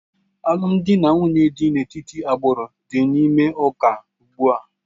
Alụmdi na nwunye dị n'etiti agbụrụ dị n'ime ụka ugbu a